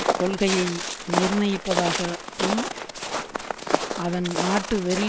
கொள்கையை நிர்ணயிப்பதாகவும் அதன் நாட்டுவெறி